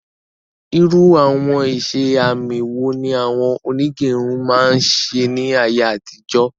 Irú àwọn iṣẹ àmì wo ni awọn onígẹrun máa ń ṣe ní ayé àtijó?